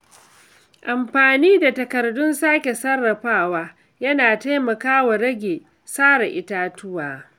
Amfani da takardun sake sarrafawa yana taimakawa rage sare itatuwa.